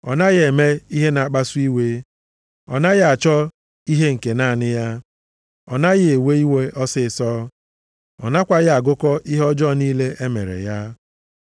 Ọ naghị eme ihe na-akpasu iwe, ọ naghị achọ ihe nke naanị ya, ọ naghị ewe iwe ọsịịsọ. Ọ nakwaghị agụkọ ihe ọjọọ niile e mere ya.